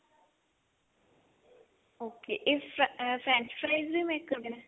okay ਇਸ French fries ਵੀ make ਕਰਦੇ ਨੇ